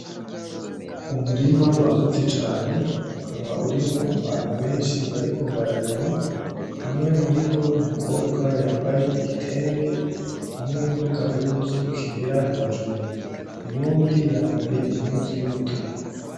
Umurima wagutse cane ukaba urimwo abantu benshi bariko bararima umwe muribo numukobwa yambaye igitenge hamwe nagahuzu kera hejuru , uwundi yambaye impuzu y'umutuku .